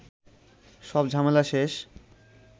সব ঝামেলা শেষ